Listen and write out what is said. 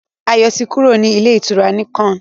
Ayo tí kúrò ní Ilé-ìtura Nicon.